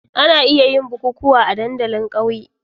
Ana iya yin bukukuwa a dandalin ƙauyen.